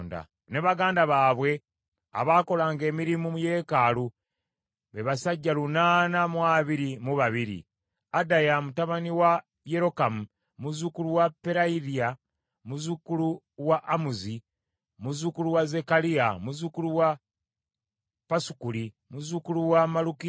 ne baganda baabwe abaakolanga emirimu mu yeekaalu, be basajja lunaana mu abiri mu babiri (822); Adaya mutabani wa Yerokamu, muzzukulu wa Peraliya, muzzukulu wa Amuzi, muzzukulu wa Zekkaliya, muzzukulu wa Pasukuli, muzzukulu wa Malukiya,